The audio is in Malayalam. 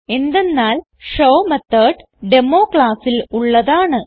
എന്തെന്നാൽ ഷോ മെത്തോട് ഡെമോ ക്ലാസ്സിൽ ഉള്ളതാണ്